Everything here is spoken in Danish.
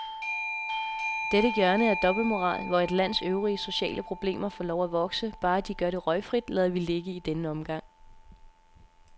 Dette hjørne af dobbeltmoral, hvor et lands øvrige sociale problemer får lov at vokse, bare de gør det røgfrit, lader vi ligge i denne omgang.